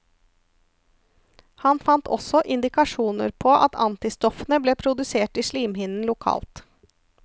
Han fant også indikasjoner på at antistoffene ble produsert i slimhinnen lokalt.